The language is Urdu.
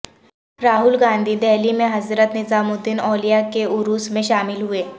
راہل گاندھی دہلی میں حضرت نظام الدین اولیا کے عرس میں شامل ہوئے